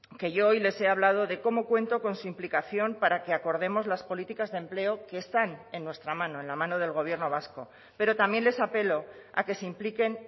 que yo hoy les he hablado de cómo cuento con su implicación para que acordemos las políticas de empleo que están en nuestra mano en la mano del gobierno vasco pero también les apelo a que se impliquen